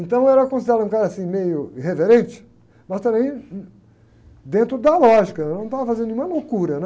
Então eu era considerado um cara, assim, meio irreverente, mas também dentro da lógica, eu não estava fazendo nenhuma loucura, né?